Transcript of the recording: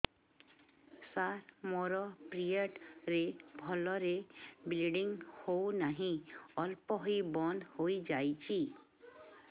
ସାର ମୋର ପିରିଅଡ଼ ରେ ଭଲରେ ବ୍ଲିଡ଼ିଙ୍ଗ ହଉନାହିଁ ଅଳ୍ପ ହୋଇ ବନ୍ଦ ହୋଇଯାଉଛି